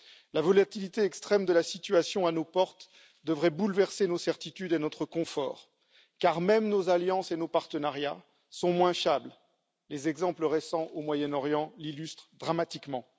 La volatilité extrême de la situation à nos portes devrait bouleverser nos certitudes et notre confort, car même nos alliances et nos partenariats sont moins fiables. Les exemples récents au Moyen Orient l'illustrent dramatiquement.